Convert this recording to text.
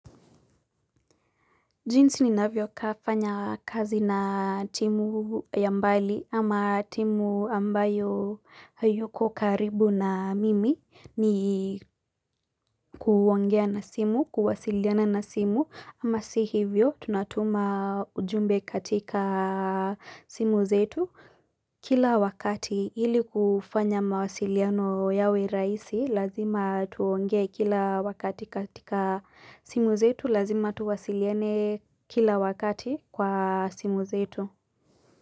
Jinsi ninavyokafanya kazi na timu ya mbali ama timu ambayo haiyuko karibu na mimi ni kuongea na simu, kuwasiliana na simu ama si hivyo tunatuma ujumbe katika simu zetu. Kila wakati ili kufanya mawasiliano yawe raisi, lazima tuongee kila wakati katika simu zetu, lazima tuwasiliane kila wakati kwa simu zetu.